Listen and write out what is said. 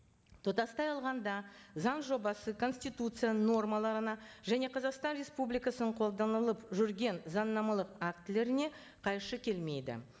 тұтастай алғанда заң жобасы конституцияның нормаларына және қазақстан республикасының қолданылып жүрген заңнамалық актілеріне қайшы келмейді